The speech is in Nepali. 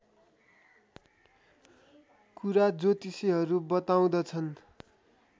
कुरा ज्योतिषीहरू बताउँदछन्